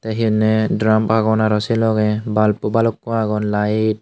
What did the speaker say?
te he honne drump agon aro say logey bulb o balukko agon light.